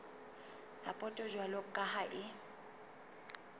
sapoto jwalo ka ha e